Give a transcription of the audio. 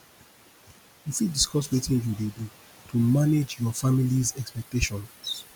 you fit discuss wetin you dey do to manage your familys expectations